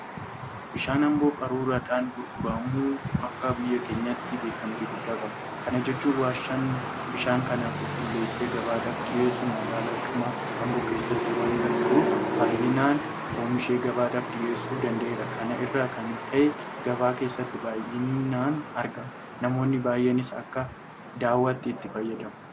Bishaan Amboo qaruuraadhaan gurguramu akka biyya keenyaatti beekamtii guddaa qaba. Kana jechuun Warshaan bishaan kana qulqulleessee gabaadhaaf dhiyeessu magaalaadhuma Amboo keessa waanta jiruuf baay'inaan oomishee gabaadhaaf dhiyeessuu danda'eera. Kana irraa Kan ka'e gabaa keessatti baay'inaan argama. Namoonni baay'eenis akka dawaatti itti fayyadamu.